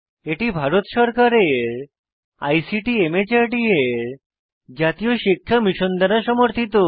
এটি ভারত সরকারের ICT MHRD এর জাতীয় শিক্ষা মিশন দ্বারা সমর্থিত